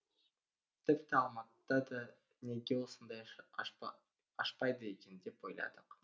тіпті алматыда да неге осындай ашпайды екен деп ойладық